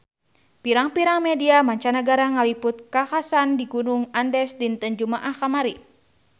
Pirang-pirang media mancanagara ngaliput kakhasan di Gunung Andes dinten Jumaah kamari